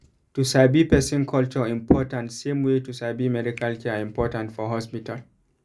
to sabi person culture important same way to sabi medical care important for hospital